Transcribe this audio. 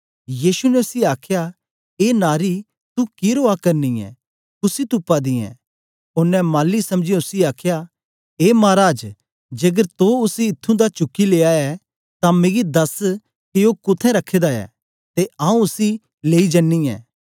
यीशु ने उसी आखया ए नारी तू कि रोआ करनी ऐ कुसी तुपा दी ऐं ओनें माली समझीयै उसी आखया ए माराज जेकर तो उसी ईथुं दा उसी चुकी लेया ऐ तां मिगी दस के ओ कुत्थें रखे दा ऐ ते आऊँ उसी लेई जनीं ऐं